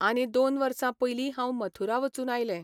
आनी दोन वर्सां पयलीं हांव मथुरा वचून आयलें.